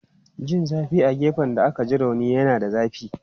Jin zafi a gefen da aka ji rauni yana da zafi.